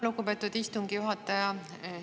Lugupeetud istungi juhataja!